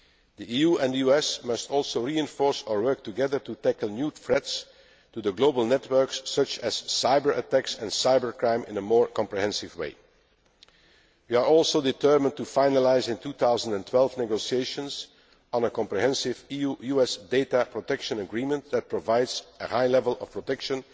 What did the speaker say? work. The EU and US must also reinforce our work together to tackle new threats to the global networks, such as cyber attacks and cyber crime, in a more comprehensive way. We are also determined to finalise in 2012 negotiations on a comprehensive EU US data protection agreement that provides a high level of